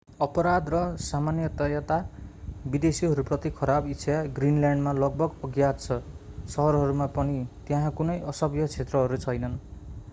अपराध र सामान्यतया विदेशीहरूप्रति खराब इच्छा ग्रीनल्याण्डमा लगभग अज्ञात छ शहरहरूमा पनि त्यहाँ कुनै असभ्य क्षेत्रहरू छैनन्